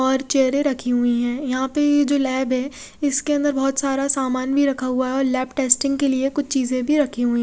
और चेयरे रखी हुई है यहाँ पर जो लेब है इसके अंदर बहोत सारा सामान भी रखा हुआ है और लेब टेस्टिंग के लिए कुछ चीजे भी रखी हुई है।